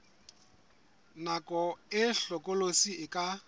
nako e hlokolosi e ka